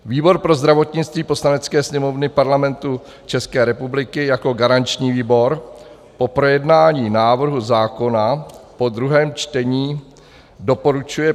Výbor pro zdravotnictví Poslanecké sněmovny Parlamentu České republiky jako garanční výbor po projednání návrhu zákona po druhém čtení doporučuje